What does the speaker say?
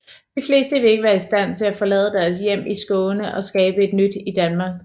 De fleste ville ikke være i stand til at forlade deres hjem i Skåne og skabe et nyt i Danmark